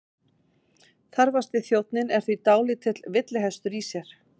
Þarfasti þjónninn er því dálítill villihestur í sér.